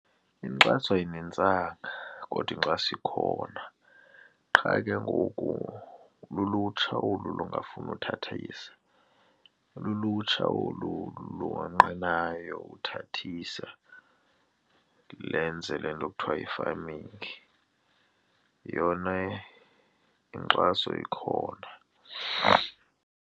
Inkxaso ayinintsanga kodwa inxaso ikhona qha ke ngoku lulutsha olu lingafuni uthathisa, lulutsha olu lukonqenayo uthathise lenze le nto kuthiwa yi-farming yona inkxaso ikhona.